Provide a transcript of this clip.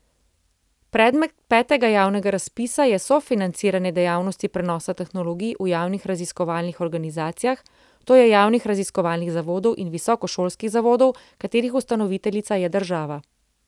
Predmet petega javnega razpisa je sofinanciranje dejavnosti prenosa tehnologij v javnih raziskovalnih organizacijah, to je javnih raziskovalnih zavodov in visokošolskih zavodov, katerih ustanoviteljica je država.